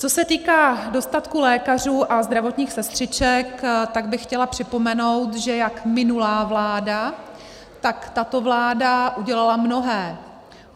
Co se týká dostatku lékařů a zdravotních sestřiček, tak bych chtěla připomenout, že jak minulá vláda, tak tato vláda udělaly mnohé.